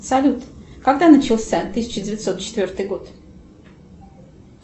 салют когда начался тысяча девятьсот четвертый год